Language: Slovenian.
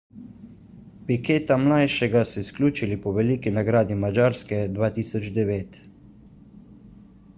piqueta mlajšega so izključili po veliki nagradi madžarske 2009